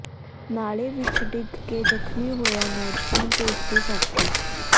ਨਾਲੇ ਵਿੱਚ ਡਿੱਗ ਕੇ ਜ਼ਖਮੀ ਹੋਇਆ ਨੌਜਵਾਨ ਤੇ ਉਸਦੇ ਸਾਥੀ